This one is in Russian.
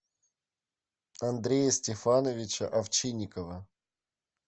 андрея стефановича овчинникова